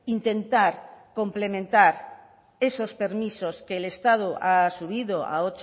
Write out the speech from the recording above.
intentar complementar esos permisos que el estado ha subido a